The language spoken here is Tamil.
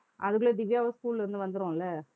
அதுக்குள்ள திவ்யாவும் school ல இருந்து வந்துரும் இல்ல